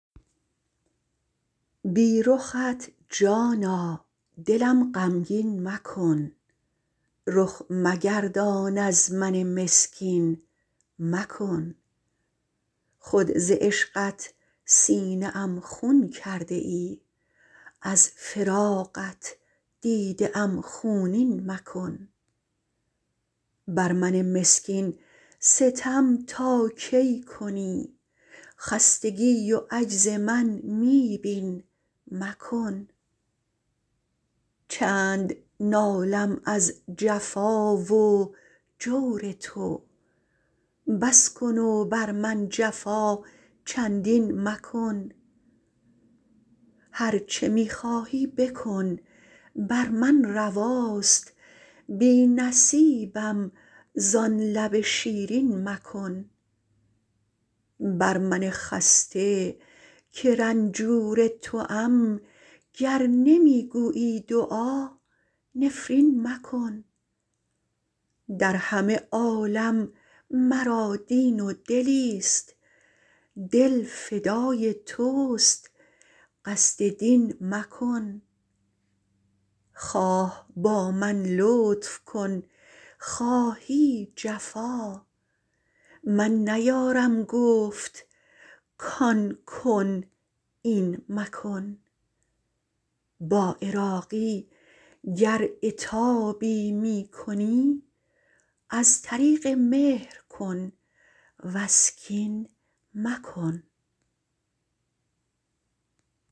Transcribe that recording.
بی رخت جانا دلم غمگین مکن رخ مگردان از من مسکین مکن خود ز عشقت سینه ام خون کرده ای از فراقت دیده ام خونین مکن بر من مسکین ستم تا کی کنی خستگی و عجز من می بین مکن چند نالم از جفا و جور تو بس کن و بر من جفا چندین مکن هر چه می خواهی بکن بر من رواست بی نصیبم زان لب شیرین مکن بر من خسته که رنجور توام گر نمی گویی دعا نفرین مکن در همه عالم مرا دین و دلی است دل فدای توست قصد دین مکن خواه با من لطف کن خواهی جفا من نیارم گفت کان کن این مکن با عراقی گر عتابی می کنی از طریق مهر کن وز کین مکن